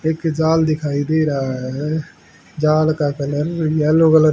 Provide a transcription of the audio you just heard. एक जाला दिखाई दे रहा है जाल का कलर येलो कलर --